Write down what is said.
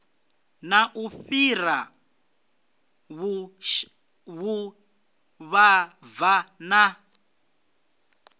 na u fhura vhuvhava na